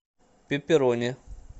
пепперони